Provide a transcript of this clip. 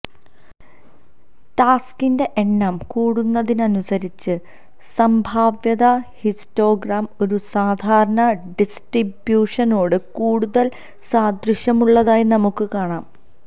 ടാസ്കിൻറെ എണ്ണം കൂടുന്നതിനനുസരിച്ച് സംഭാവ്യത ഹിസ്റ്റോഗ്രാം ഒരു സാധാരണ ഡിസ്ട്രിബ്യൂഷനോട് കൂടുതൽ സാദൃശ്യമുള്ളതായി നമുക്ക് കാണാം